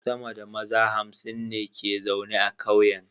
Sama da maza hamsin ne ke zaune a kauyen